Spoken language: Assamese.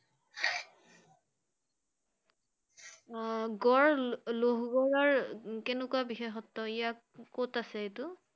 আহ গড় লোহ~গড়ৰ কেনেকুৱা বিশেষত্ব ইয়াক~ক‘ত আছে এইটো?